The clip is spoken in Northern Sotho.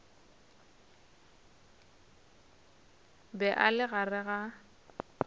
be a le gare a